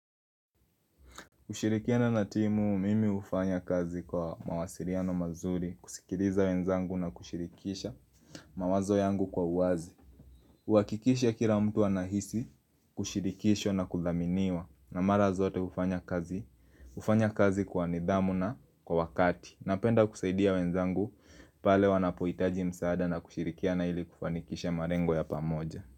Kushirikiana na timu mimi hufanya kazi kwa mawasiliano mazuri kusikiliza wenzangu na kushirikisha mawazo yangu kwa uwazi kuhakikisha kila mtu anahisi, kushirikishwa na kudhaminiwa na mara zote hufanya kazi, hufanya kazi kwa nidhamu na kwa wakati Napenda kusaidia wenzangu pale wanapohitaji msaada na kushirikiana ili kufanikisha malengo ya pamoja.